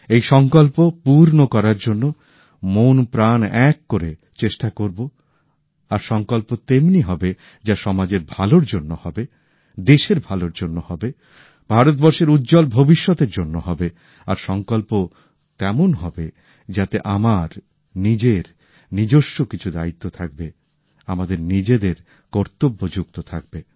সেই সংকল্প পূর্ণ করার জন্য মনপ্রাণ এক করে চেষ্টা করব আর সংকল্প তেমনি হবে যা সমাজের ভালোর জন্য হবে দেশের ভালোর জন্য হবে ভারতবর্ষের উজ্জ্বল ভবিষ্যতের জন্য হবে আর সংকল্প তেমন হবে যাতে আমার নিজের নিজস্ব কিছু দায়িত্ব থাকবে আমাদের নিজেদের কর্তব্য যুক্ত থাকবে